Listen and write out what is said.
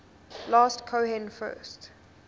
last cohen first